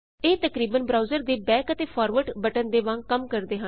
ਇਹ ਤਕਰੀਬਨ ਬ੍ਰਾਉਜ਼ਰ ਦੇ ਬੈਕ ਅਤੇ ਫਾਰਵਰਡ ਬਟਨ ਦੇ ਵਾਂਗ ਕੰਮ ਕਰਦੇ ਹਨ